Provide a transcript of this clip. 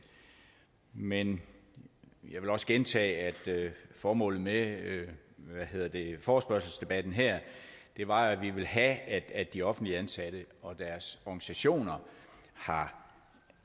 men jeg vil også gentage at formålet med forespørgselsdebatten her var at vi ville have at de offentligt ansatte og deres organisationer har